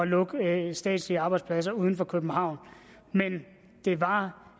lukke statslige arbejdspladser uden for københavn men det var